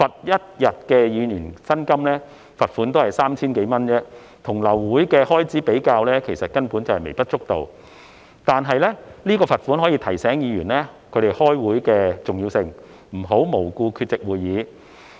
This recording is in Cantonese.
一天的議員薪酬罰款約 3,000 多港元，與流會的開支比較，根本微不足道，但罰款可以提醒議員開會的重要性，不能無故缺席會議。